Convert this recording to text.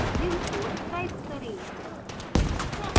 निम्न code type करें